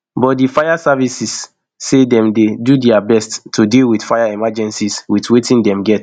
but di fire service say dem dey do dia best to deal wit fire emergencies wit wetin dem get